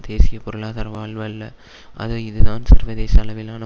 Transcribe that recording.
தேசிய பொருளாதார வாழ்வு அல்ல அது இதுதான் சர்வதேச அளவிலான